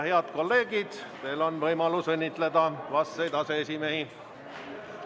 Head kolleegid, teil on võimalus õnnitleda vastseid aseesimehi.